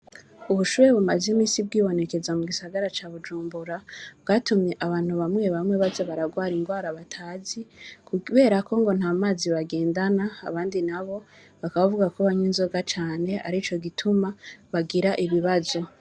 Ubushuhe bumaze igihe bwibonekeza mu gisagara ca Bujumbura bwatumye abantu bamwe bamwe baja bararwara ingwara batazi kuberako ngo ntamazi bagendana abandi nabo bakaba bavugako kunwa inzoga cane arico gituma bagira ibibazo.